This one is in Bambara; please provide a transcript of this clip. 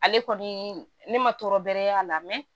Ale kɔni ne ma tɔɔrɔ bɛrɛ y'a la